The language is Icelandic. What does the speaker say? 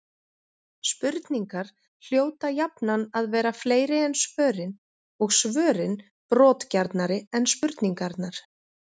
Spurningar hljóta jafnan að vera fleiri en svörin, og svörin brotgjarnari en spurningarnar.